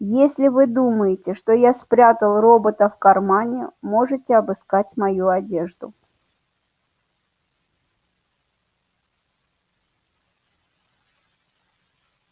если вы думаете что я спрятал робота в кармане можете обыскать мою одежду